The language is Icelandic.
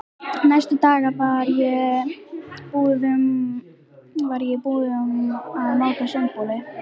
Næstu daga var ég í búðum að máta sundboli.